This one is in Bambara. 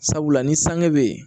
Sabula ni sange bɛ yen